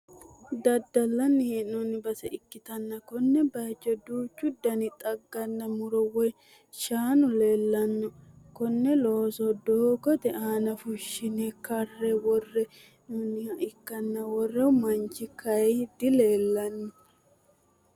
daddallanni hee'noonni base ikkitanna konne bayiichono duuchu dani xagganna muro woyi shaanu leelanno, konne looso doogote aana fushshine karre worre hee'noonniha ikkanna worro manchi kayi dileelanno.